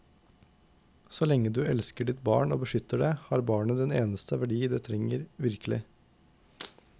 Så lenge du elsker ditt barn og beskytter det, har barnet den eneste verdi det virkelig trenger.